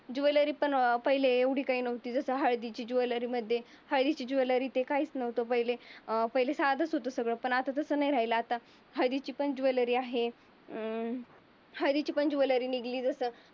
Jewellery पण एवढी काही नव्हती. जसं हळदीच्या ज्वेलरीमध्ये हळदीची ज्वेलरी ते काहीच नव्हतं पहिले. अं पहिले साधन होतं सगळं पण आता तसं नाही राहिलं. आता हळदीची पण ज्वेलरी आहे. अं हळदीची पण ज्वेलरी निघाली जसं